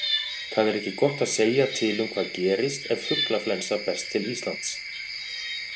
Það er ekki gott að segja til um hvað gerist ef fuglaflensa berst til Íslands.